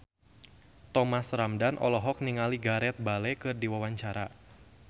Thomas Ramdhan olohok ningali Gareth Bale keur diwawancara